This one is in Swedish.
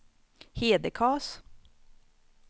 Hedekas